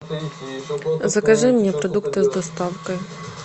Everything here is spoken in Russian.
закажи мне продукты с доставкой